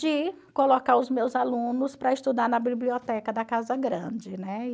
de colocar os meus alunos para estudar na biblioteca da casa grande, né?